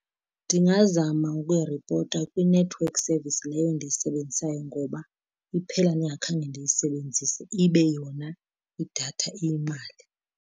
Ndingazama ukuyiripota kwi-network service leyo ndiyisebenzisayo ngoba iphela ndingakhange ndiyisebenzise, ibe yona idatha iyimali.